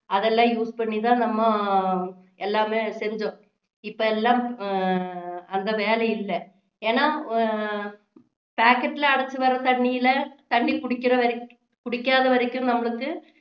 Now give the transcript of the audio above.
அதெல்லாம் use பண்ணி தான் நம்ம எல்லாமே செஞ்சோம் இப்போ எல்லாம் ஹம் அந்த வேலை இல்ல ஏன்னா ஹம் packet ல அடைச்சு வர்ற தண்ணியில தண்ணி குடிக்கிற வரைக்~ குடிக்காத வரைக்கும் நம்மளுக்கு